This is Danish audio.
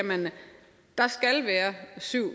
sige